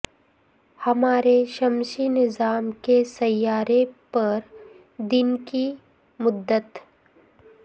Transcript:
ہمارے شمسی نظام کے سیارے پر دن کی مدت